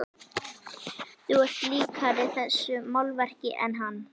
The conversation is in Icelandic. Þú ert líkari þessu málverki en hann.